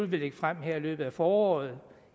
lægge frem her i løbet af foråret